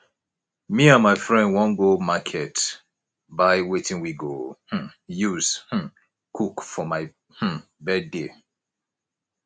me and my friend wan go market buy wetin we go um use um cook for my um birthday